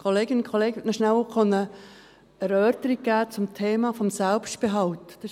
Ich möchte noch kurz eine Erläuterung zum Thema Selbstbehalt geben.